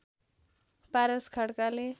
पारस खड्काले